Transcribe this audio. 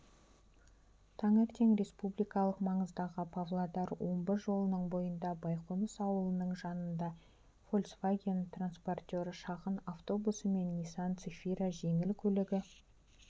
таңертең республикалық маңыздағы павлодар-омбы жолының бойында байқоныс ауылының жанында фольцваген-транспортер шағын автобусы мен нисан-цефира жеңіл көлігі